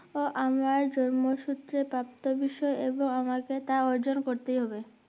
ও আমরা জন্ম সুত্রের প্রাপ্ত বিষয় এবং আমাকে তা অর্জন করতেই হবে